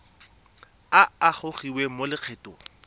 a a gogiwang mo lokgethong